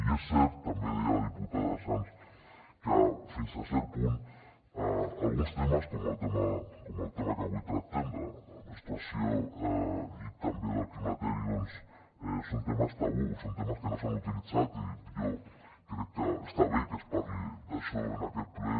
i és cert també ho deia la diputada sans que fins a cert punt alguns temes com el tema que avui tractem de la menstruació i també del climateri doncs són temes tabú són temes que no s’han utilitzat i jo crec que està bé que es parli d’això en aquest ple